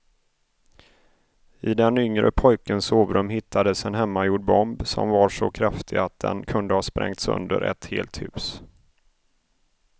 I den yngre pojkens sovrum hittades en hemmagjord bomb som var så kraftig att den kunde ha sprängt sönder ett helt hus.